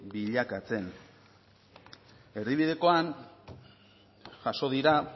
bilakatzen erdibidekoan jaso dira